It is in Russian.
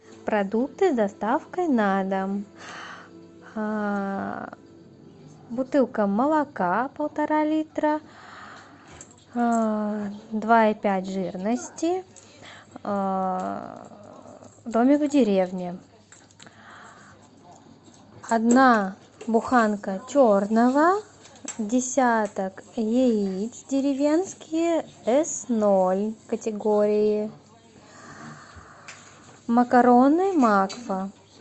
продукты с доставкой на дом бутылка молока полтора литра два и пять жирности домик в деревне одна буханка черного десяток яиц деревенские с ноль категории макароны макфа